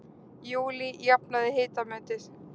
Júlí jafnaði hitametið